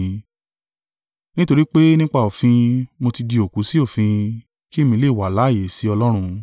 “Nítorí pé nípa òfin, mo tí di òkú sí òfin, kí èmi lè wà láààyè sí Ọlọ́run.